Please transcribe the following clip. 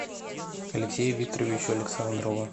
алексею викторовичу александрову